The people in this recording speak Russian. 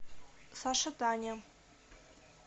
саша таня